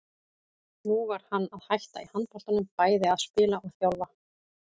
Nú var hann að hætta í handboltanum, bæði að spila og þjálfa.